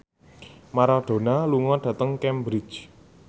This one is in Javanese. Maradona lunga dhateng Cambridge